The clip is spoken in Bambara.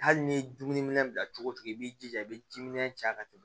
Hali n'i ye dumuniminɛn bila cogo cogo i b'i jija i bɛ jiminɛn ja ka tɛmɛ